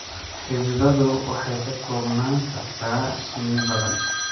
Xididdadu waxay ka koobnaan kartaa shinni badan.